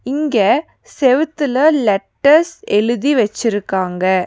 இங்க செவுத்துல லெட்டர்ஸ் எழுதி வெச்சிருக்காங்க.